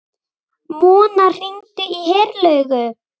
Mona, hringdu í Herlaugu.